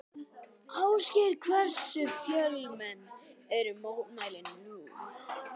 Ásgeir, hversu fjölmenn eru mótmælin nú?